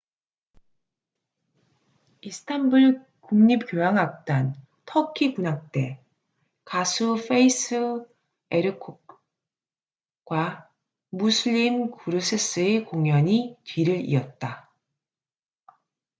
이스탄불 국립 교향악단 터키 군악대 가수 fatih erkoç과 müslüm gürses의 공연이 뒤를 이었다